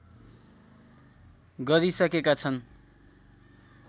गरिसकेका छन्